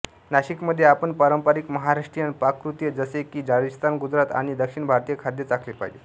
नाशिकमध्ये आपण पारंपारिक महाराष्ट्रीयन पाककृती जसे की राजस्थान गुजरात आणि दक्षिण भारतीय खाद्य चाखले पाहिजे